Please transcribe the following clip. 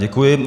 Děkuji.